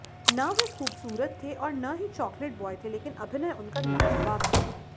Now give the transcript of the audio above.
न वे खूबसूरत थे और न ही चॉकलेट ब्वॉय थे लेकिन अभिनय उनका लाजवाब था